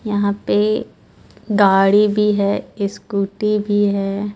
यहाँ पे गाडी भी है इस्कुटि भी हे.